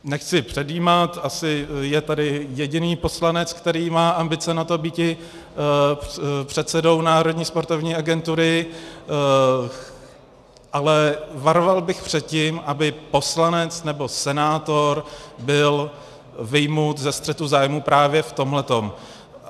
Nechci předjímat, asi je tady jediný poslanec, který má ambice na to býti předsedou Národní sportovní agentury, ale varoval bych před tím, aby poslanec nebo senátor byl vyjmut ze střetu zájmů právě v tomhle.